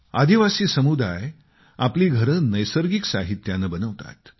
आदिवासी समुदाय आपली घरे नैसर्गिक साहित्याने बनवतात